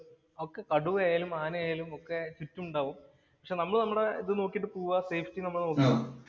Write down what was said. കടുവയായാലും, ആനയായാലും ഒക്കെ ചുറ്റുമുണ്ടാവും. പക്ഷെ നമ്മള് നമ്മടെ ഇത് നോക്കീട്ടു പോവു